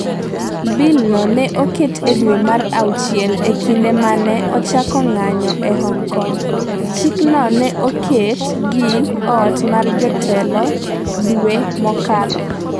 'Bil no ne oket e dwe mar auchiel e kinde ma ne ochako ng'anjo e Hong Kong, chikno ne oket gi ot mar jotelo dwe mokalo.